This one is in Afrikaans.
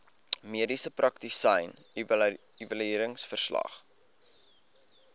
mediese praktisyn evalueringsverslag